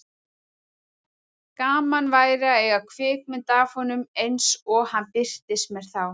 Gaman væri að eiga kvikmynd af honum eins og hann birtist mér þá.